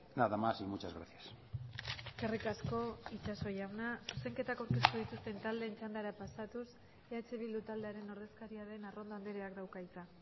nada más y muchas gracias eskerrik asko itxaso jauna zuzenketak aurkeztu dituzten taldeen txandara pasatuz eh bildu taldearen ordezkaria den arrondo andreak dauka hitza